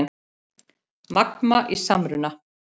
Magma í samruna